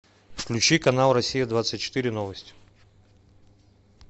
включи канал россия двадцать четыре новости